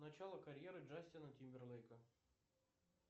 начало карьеры джастина тимберлейка